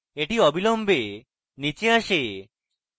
এটি অবিলম্বে নীচে আসে